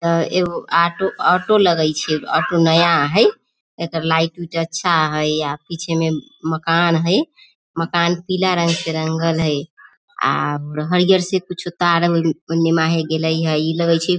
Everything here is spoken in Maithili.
आ एगो आटो ऑटो लगई छे ऑटो नया हई एकर लाइट उट अच्छा हई आ पीछे में मकान हई मकान पीला रंग के रंगल हई आ हरियर से कुछु तार गइले इ लगई छई।